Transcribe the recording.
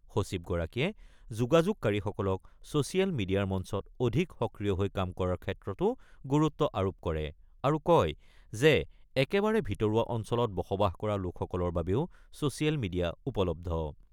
সচিবগৰাকীয়ে যোগাযোগকাৰীসকলক ছোচিয়েল মিডিয়াৰ মঞ্চত অধিক সক্ৰিয় হৈ কাম কৰাৰ ক্ষেত্ৰতো গুৰুত্ব আৰোপ কৰে আৰু কয় যে একেবাৰে ভিতৰুৱা অঞ্চলত বসবাস কৰা লোকসকলৰ বাবেও ছোচিয়েল মিডিয়া উপলব্ধ।